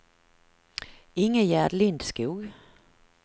Ingegärd Lindskog